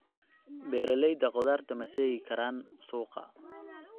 Beeralayda khudaarta ma seegi karaan suuqa.